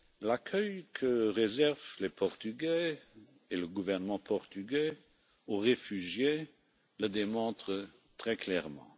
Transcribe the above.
L'accueil que réservent les Portugais et le gouvernement portugais aux réfugiés le démontre très clairement.